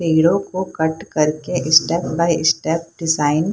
hero को cut कर के स्टेप बाई स्टेप डिजाइन --